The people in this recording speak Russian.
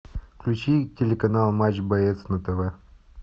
включи телеканал матч боец на тв